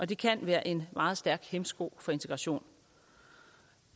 det kan være en meget stærk hæmsko for integration